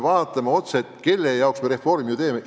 Sest kelle jaoks me reformi teeme?